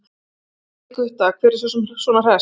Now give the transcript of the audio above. gall í Gutta, hver er svona hress?